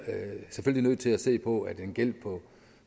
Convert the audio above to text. selvfølgelig nødt til at se på at en gæld på